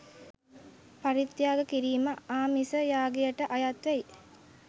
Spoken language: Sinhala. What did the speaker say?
පරිත්‍යාග කිරීම ආමිස යාගයට අයත් වෙයි.